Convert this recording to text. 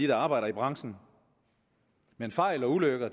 der arbejder i branchen men fejl og ulykker